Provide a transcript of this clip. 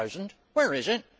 2000? Where is it?